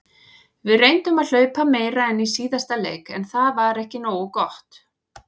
Við reyndum að hlaupa meira en í síðasta leik en það var ekki nógu gott.